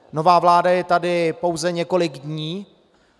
Nová vláda je tady pouze několik dní.